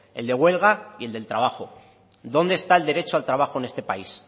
el de huelga y el del trabajo dónde está el derecho al trabajo en este país